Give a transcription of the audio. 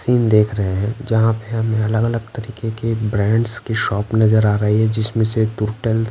scene देख रहे हैं जहां पे हमें अलग-अलग तरीके के ब्रांड्स की शॉप नजर आ रही है जिसमें से --